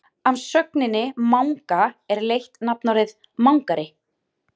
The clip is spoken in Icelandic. af sögninni manga er leitt nafnorðið mangari